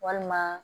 Walima